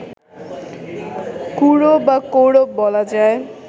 কুরু বা কৌরব বলা যায়